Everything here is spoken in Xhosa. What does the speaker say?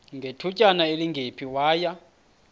ngethutyana elingephi waya